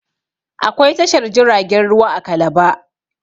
Akwai tashar jiragen ruwa a calabar